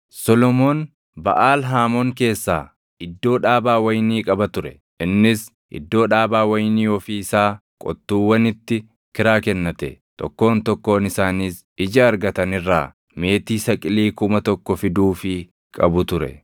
Solomoon Baʼaal Haamoon keessaa iddoo dhaabaa wayinii qaba ture; innis iddoo dhaabaa wayinii ofii isaa qottuuwwanitti kiraa kennate. Tokkoon tokkoon isaaniis ija argatan irraa meetii saqilii kuma tokko fiduufii qabu ture.